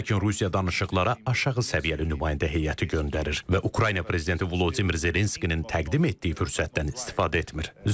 Lakin Rusiya danışıqlara aşağı səviyyəli nümayəndə heyəti göndərir və Ukrayna prezidenti Vladimir Zelenskinin təqdim etdiyi fürsətdən istifadə etmir.